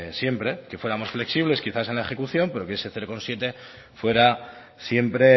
siempre que fuéramos flexibles quizás en la ejecución pero que ese cero coma siete fuera siempre